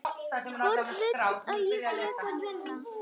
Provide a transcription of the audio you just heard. Hvorn vil ég frekar vinna?